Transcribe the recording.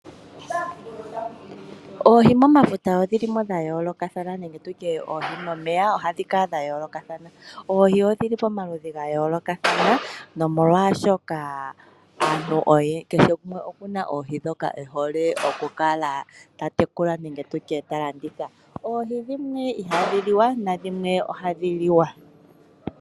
Oohi momafuta odhili mo dha yoolokathana nenge tutye oohi momeya ohadhi kala dha yoolokathana. Oohi odhili pamaludhi ga yoolokathana nomolwaashoka aantu kehe gumwe oku na oohi ndhoka ehole oku kala ta tekula nenge tutye ta landitha. Oohi dhimwe ihadhi liwa nadhimwe ohadhi liwa.